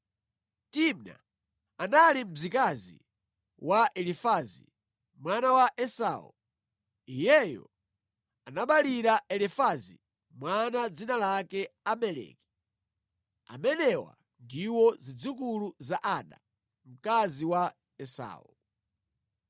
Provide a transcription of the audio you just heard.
Timna anali mzikazi wa Elifazi, mwana wa Esau. Iyeyo anaberekera Elifazi mwana dzina lake Amaleki. Amenewa ndiwo zidzukulu za Ada, mkazi wa Esau.